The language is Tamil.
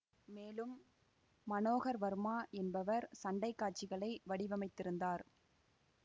மேலும் மனோகர் வர்மா என்பவர் சண்டை காட்சிகளை வடிவமைத்திருந்தார்